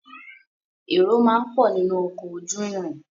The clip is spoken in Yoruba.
Èrò máa ń pọ̀ nínu ọkọ̀ ojú irin.